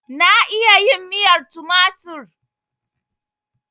Na iya yin miyar tumatur.